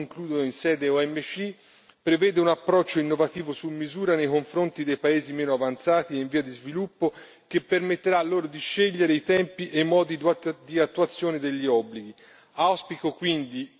Questo primo accordo in sede OMC prevede un approccio innovativo su misura nei confronti dei paesi meno avanzati e in via di sviluppo, che permetterà loro di scegliere i tempi e i modi di attuazione degli obblighi.